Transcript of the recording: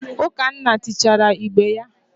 Ukanna tichaara igbe ya.